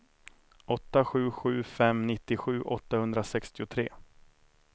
åtta sju sju fem nittiosju åttahundrasextiotre